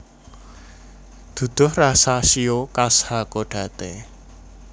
Duduh rasa shio khas Hakodate